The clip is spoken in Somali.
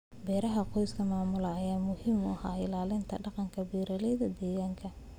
Beeraha qoysku maamulaan ayaa muhiim u ah ilaalinta dhaqanka beeralayda deegaanka.